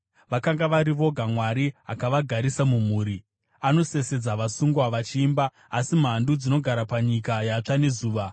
Vakanga vari voga Mwari akavagarisa mumhuri, anosesedza vasungwa vachiimba; asi mhandu dzinogara panyika yatsva nezuva.